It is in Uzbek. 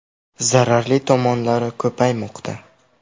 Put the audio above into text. Zararli tomonlari ko‘paymoqda.